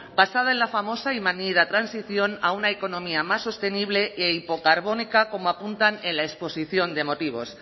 basada en la famosa y manida transición a una economía más sostenible e hipocarbónica como apuntan en la exposición de motivos